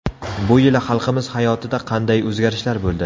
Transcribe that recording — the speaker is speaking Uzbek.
Bu yili xalqimiz hayotida qanday o‘zgarishlar bo‘ldi?